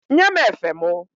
Nye m efe mụ!